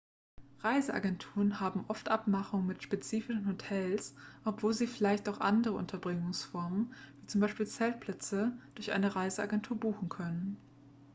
reiseagenturen haben oft abmachungen mit spezifischen hotels obwohl sie vielleicht auch andere unterbringungsformen wie zum beispiel zeltplätze durch eine reiseagentur buchen können.x